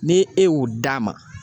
Ni e y'o d'a ma